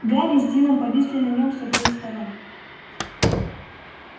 гарри с дином повисли на нём с обеих сторон